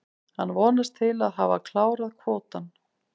Hann vonast til að hafa klárað kvótann.